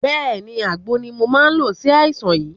Bẹ́ẹ̀ni, àgbo ni mò máa ń lo sí àìsàn yìí